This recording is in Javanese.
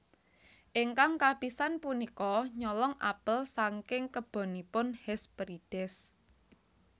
Ingkang kapisan punika nyolong apel saking kebonipun Hesperides